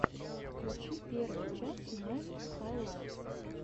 включи первую часть мэд хайлайтс